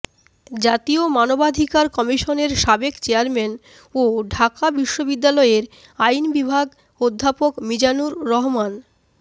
জাতীয় মানবাধিকার কমিশনের সাবেক চেয়ারম্যান ও ঢাকা বিশ্ববিদ্যালয়ের আইন বিভাগর অধ্যাপক মিজানুর রহমান